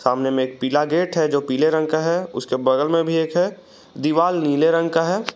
सामने में एक पीला गेट है जो पीले रंग का है उसके बगल में भी एक है दीवाल नीले रंग का है।